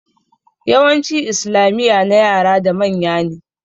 Yawancin islamiya na yara da manya ne